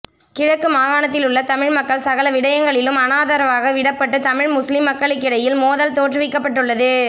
கிழக்கு மாகாணத்திலுள்ள தமிழ்மக்கள் சகல விடயங்களிலும் அநாதரவாக விடப்பட்டு தமிழ் முஸ்லிம் மக்களுக்கிடையில் மோதல் தோற்றுவிக்கப்பட்டுள்ளது